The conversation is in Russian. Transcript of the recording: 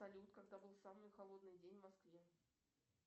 салют когда был самый холодный день в москве